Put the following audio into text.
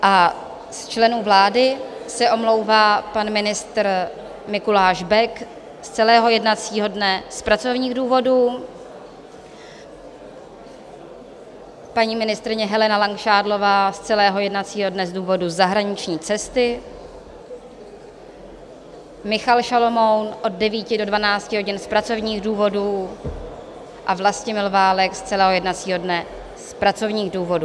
A z členů vlády se omlouvá: pan ministr Mikuláš Bek z celého jednacího dne z pracovních důvodů, paní ministryně Helena Langšádlová z celého jednacího dne z důvodu zahraniční cesty, Michal Šalomoun od 9 do 12 hodin z pracovních důvodů a Vlastimil Válek z celého jednacího dne z pracovních důvodů.